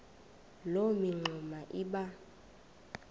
loo mingxuma iba